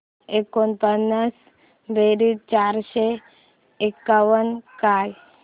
एकोणपन्नास बेरीज चारशे एकावन्न काय